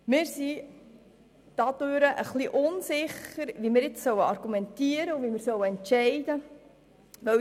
Wir sind etwas unsicher, wie wir jetzt argumentieren und entscheiden sollen.